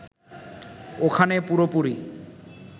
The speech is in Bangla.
ওখানে পুরোপুরি